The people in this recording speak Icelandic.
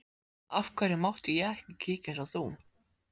Af hverju mátti ég ekki kíkja eins og þú?